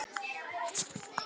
En hver er þessi kona?